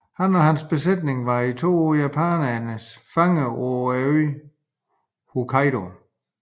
Han og hans besætning var i to år japanernes fanger på øen Hokkaido